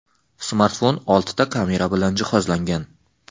Smartfon oltita kamera bilan jihozlangan.